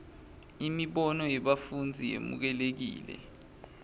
imibono yebafundzi yemukelekile